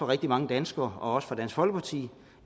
rigtig mange danskere og også for dansk folkeparti